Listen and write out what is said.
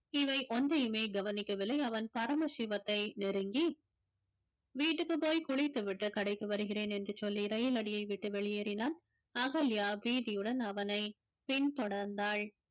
இவை ஒன்றையுமே கவனிக்கவில்லை அவன் பரமசிவத்தை நெருங்கி வீட்டுக்கு போய் குளித்துவிட்டு கடைக்கு வருகிறேன் என்று சொல்லி ரயிலடியை விட்டு வெளியேறினான் அகல்யா பீதியுடன் அவனை பின்தொடர்ந்தாள்